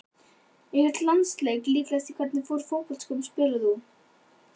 Einhvern landsleik líklegast Í hvernig fótboltaskóm spilar þú?